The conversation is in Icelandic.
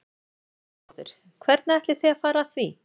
Lillý Valgerður Pétursdóttir: Hvernig ætlið þið að fara að því?